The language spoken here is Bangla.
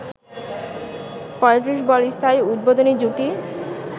৩৫ বল স্থায়ী উদ্বোধনী জুটি